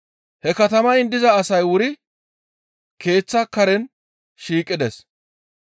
He katamayin diza asay wuri keeththa karen shiiqides.